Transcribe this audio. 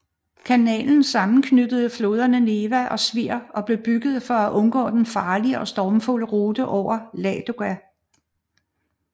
Kanalen sammenknytter floderne Neva og Svir og blev bygget for at undgå den farlige og stormfulde rute over Ladoga